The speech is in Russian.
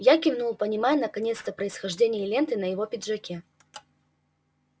я кивнул понимая наконец-то происхождение ленты на его пиджаке